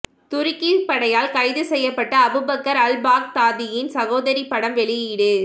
துருக்கி படையால் கைது செய்யப்பட்ட அபுபக்கர் அல் பாக்தாதியின் சகோதரி படம் வெளியீடு